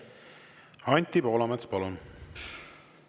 Anti Poolamets, palun!